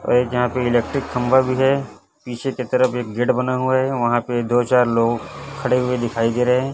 और एक जगह पे इलेक्ट्रिक खंभा भी है पीछे की तरफ एक गेट बना हुआ है वहां पे दो चार लोग खड़े हुए दिखाई दे रहे हैं।